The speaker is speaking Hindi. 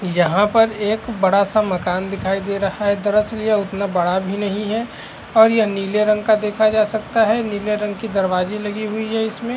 यहां पर एक बड़ा-सा मकान दिखाई दे रहा है दरअसल यह उतना बड़ा भी नहीं है और यह नील रंग का देखा जा सकता है नीले रंग की दरवाजी लगी है इसमें।